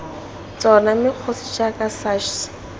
tsona mme kgosi jaaka sachs